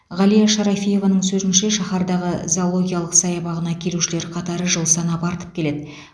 ғалия шарафиеваның сөзінше шаһардағы зоологиялық саябағына келушілер қатары жыл санап артып келеді